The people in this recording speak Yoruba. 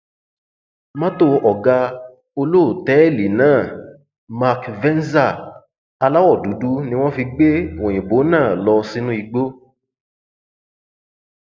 mọtò ọgá olótẹẹlì náà mark venza aláwọ dúdú ni wọn fi gbé òyìnbó náà lọ sínú igbó